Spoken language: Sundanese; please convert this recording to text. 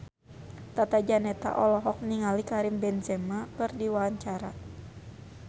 Tata Janeta olohok ningali Karim Benzema keur diwawancara